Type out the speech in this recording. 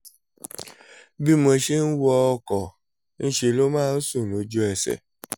bí mo ṣe ń wọ ọkọ̀ ńṣe ló máa ń sùn lójú ẹsẹ̀